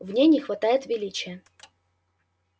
в ней не хватает величия